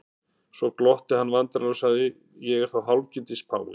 Svo glotti hann vandræðalega og sagði:-Ég er þá hálfgildings páfi?